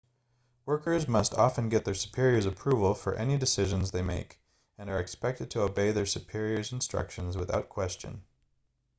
workers must often get their superiors' approval for any decisions they make and are expected to obey their superiors' instructions without question